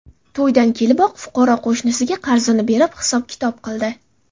To‘ydan keliboq fuqaro qo‘shnisiga qarzini berib, hisob-kitob qildi.